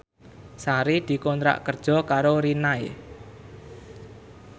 Sari dikontrak kerja karo Rinnai